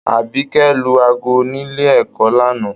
Abikẹ̀ lù aago nílé ẹ̀kọ́ l'ana.